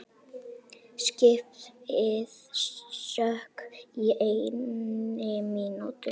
Skipið sökk á einni mínútu.